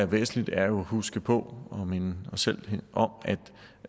væsentligt er at huske på og minde os selv om